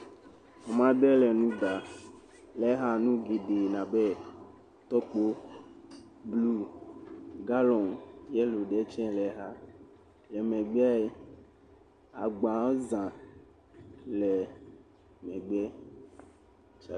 Ame aɖe le nu ɖam, le ha nuɖuɖu abe tɔkpo blu, galɔ yelo ɖe tsɛ le xa, le megbeɛ, agbawo za le megbeɛ.